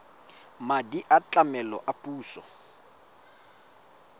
madi a tlamelo a puso